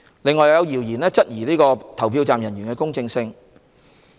此外，有謠言質疑投票站人員的公正性。